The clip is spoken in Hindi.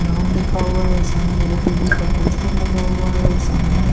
नाम लिखा हुआ है और सामने लौटरी का पोस्टर लगा हुआ है और सामने --